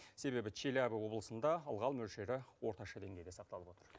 себебі челябі облысында ылғал мөлшері орташа деңгейде сақталып отыр